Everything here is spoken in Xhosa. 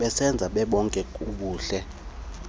besebenza bebonke kubuhle